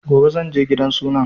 Gobe zanje gidan suna